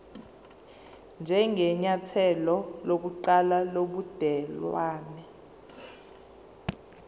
njengenyathelo lokuqala lobudelwane